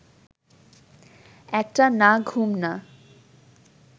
একটা না-ঘুম না